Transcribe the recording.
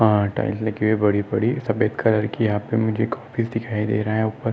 अ tiles लगी हुई है बड़ी बड़ी सफ़ेद कलर की यहाँ पे मुझे क्यापिझ दिखाई दे रहा है उपर।